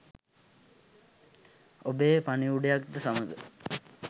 ඔබේ පණිවුඩයක් ද සමඟ